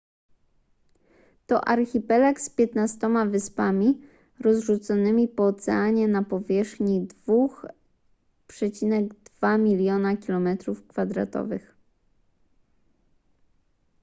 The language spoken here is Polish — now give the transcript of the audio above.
to archipelag z 15 wyspami rozrzuconymi po oceanie na powierzchni 2,2 miliona km²